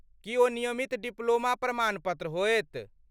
की ओ नियमित डिप्लोमा प्रमाणपत्र होयत?